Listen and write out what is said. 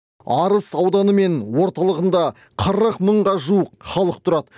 арыс ауданы мен орталығында қырық мыңға жуық халық тұрады